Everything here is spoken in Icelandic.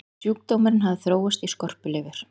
sjúkdómurinn hafði þróast í skorpulifur